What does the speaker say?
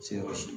Se ka